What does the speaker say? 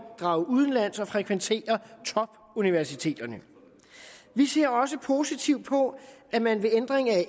drage udenlands og frekventere topuniversiteterne vi ser også positivt på at man ved ændring af